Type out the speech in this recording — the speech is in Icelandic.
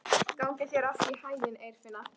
Gangi þér allt í haginn, Eirfinna.